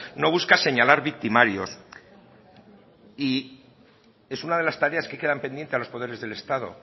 no busca señalar victimarios y es una de las tareas que quedan pendiente a los poderes del estado